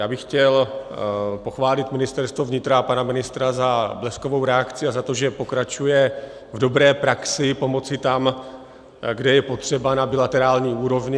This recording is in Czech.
Já bych chtěl pochválit Ministerstvo vnitra a pana ministra za bleskovou reakci a za to, že pokračuje v dobré praxi pomoci tam, kde je potřeba, na bilaterální úrovni.